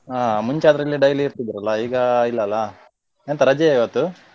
ಆ ಮುಂಚೆ ಆದ್ರೆ ಇಲ್ಲೇ daily ಇರ್ತಿದ್ರಲಾ ಈಗ ಇಲ್ಲಲಾ ಎಂತ ರಜೆಯ ಇವತ್ತು?